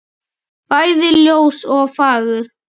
bæði ljós og fagur.